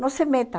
Não se meta.